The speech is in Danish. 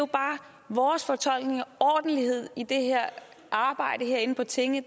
vores fortolkning af ordentlighed i det her arbejde herinde på tinge